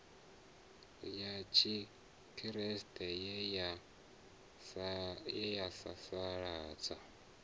ya tshikriste ye ya sasaladza